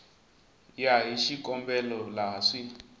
ya hi xikombelo laha swi